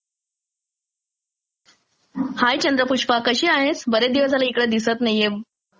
हाय चंद्रपुष्पा कशी आहेस? बरेच दिवस झाले इकडे दिसत नाहिये